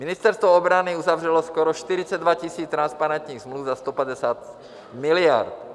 Ministerstvo obrany uzavřelo skoro 42 000 transparentních smluv za 150 miliard.